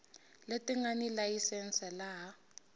leti nga ni layisense laha